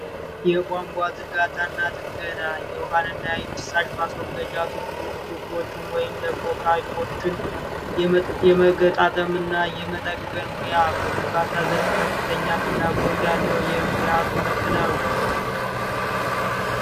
የቧንቧ ዝርጋታና ጥገና የውሃና የፍሳሽ ማስወገጃ ቱቦዎችን ወይም ፓይፖችን የመገጣጠም ሙያ፤ በግምባታ ዘርፍ ከፍተኛ ፍላጎት ያለው የሙያ ትምህርት ነው።